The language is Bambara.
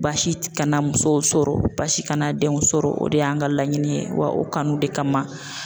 Baasi kana musow sɔrɔ basi kana denw sɔrɔ o de y'an ka laɲini ye wa o kanu de kama.